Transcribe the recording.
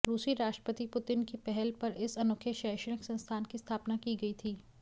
रूसी राष्ट्रपति पुतिन की पहल पर इस अनोखे शैक्षणिक संस्थान की स्थापना की गई थी